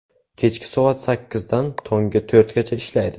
Kechki soat sakkizdan tongi to‘rtgacha ishlaydi.